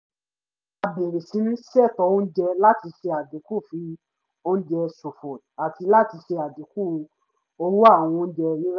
a bẹ̀rẹ̀ síní ṣètò oúnjẹ láti ṣe àdínkù ì fi oúnjẹ ṣòfò àti láti ṣe àdínkù owó àwọn oúnjẹ rírà